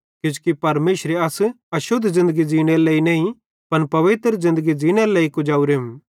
किजोकि परमेशरे अस अशुद्ध ज़िन्दगी ज़ींनेरे लेइ नईं पन पवित्र ज़िन्दगी ज़ींनेरे लेइ कुजवरेम